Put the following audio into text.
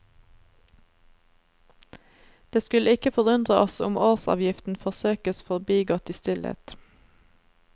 Det skulle ikke forundre oss om årsavgiften forsøkes forbigått i stillhet.